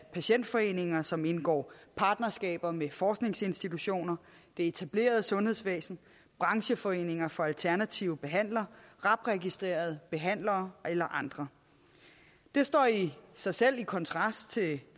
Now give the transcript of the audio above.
patientforeninger som indgår partnerskaber med forskningsinstitutioner det etablerede sundhedsvæsen brancheforeninger for alternative behandlere rab registrerede behandlere eller andre det står i sig selv i kontrast til